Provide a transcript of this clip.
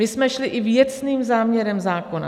My jsme šli i věcným záměrem zákona.